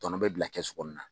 Tɔnɔ bɛ bila kɛsu kɔnɔna na